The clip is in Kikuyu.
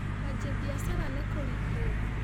Kũanjia biacara nĩ kũritũ.